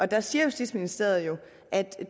der siger justitsministeriet